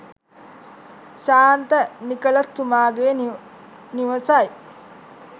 ශාන්ත Nicholas තුමාගේ නිවසයි.